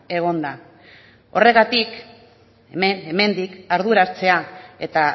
egon da horregatik hemendik arduratzea eta